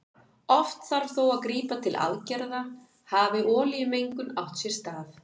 Oft þarf þó að grípa til aðgerða hafi olíumengun átt sér stað.